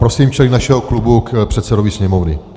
Prosím členy našeho klubu k předsedovi Sněmovny.